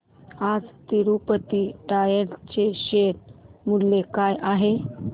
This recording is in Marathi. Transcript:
आज तिरूपती टायर्स चे शेअर मूल्य काय आहे